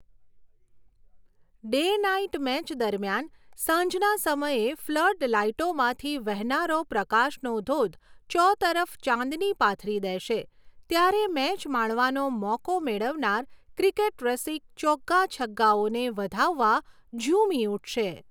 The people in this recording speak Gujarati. ડે નાઈટ મેચ દરમિયાન સાંજના સમયે ફ્લડ લાઈટોમાંથી વહેનારો પ્રકાશનો ધોધ ચોતરફ ચાંદની પાથરી દેશે ત્યારે મેચ માણવાનો મોકો મેળવનાર ક્રિકેટરસિક ચોગ્ગા છગ્ગાઓને વધાવવા ઝૂમી ઊઠશે.